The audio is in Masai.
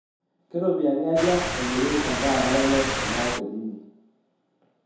keropiyani aja emiri endaa nalelek teena hoteli inyi